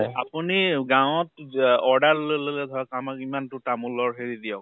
আপুনি গাওঁ ত যে order লৈ লʼলে ধৰক, আমাক ইমানতো তামোলৰ হেৰি দিয়ক ।